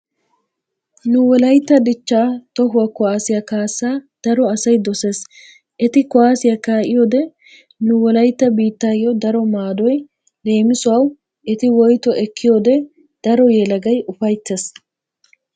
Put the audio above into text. Nu wolaytta dichchaa tohuwa kuwaassiya kaassaa daro asay dosees. Eti kuwaassiya kaa'iyode nu wolaytta biittaayyo daro maadoy leemisuwawu eti woytuwa ekkiyode daro yelagay ufayttees.